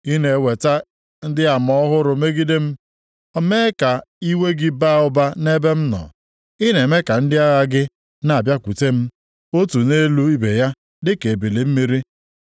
I na-eweta ndị ama ọhụrụ megide m, mee ka iwe gị baa ụba nʼebe m nọ; ị na-eme ka ndị agha gị na-abịakwute m, otu nʼelu ibe ya dịka ebili mmiri.